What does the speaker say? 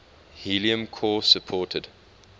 helium core supported